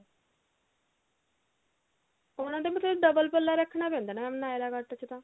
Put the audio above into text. ਉਹਨਾ ਦਾ ਮਤਲਬ double ਪੱਲਾ ਰੱਖਣਾ ਪੈਂਦਾ ਨਾ mam ਨਾਏਰਾ ਕੱਟ ਚ ਤਾਂ